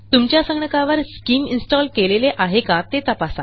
तुमच्या संगणकावर स्किम इन्स्टॉल केलेले आहे का ते तपासा